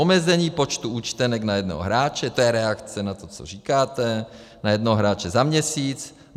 Omezení počtu účtenek na jednoho hráče - to je reakce na to, co říkáte - na jednoho hráče za měsíc.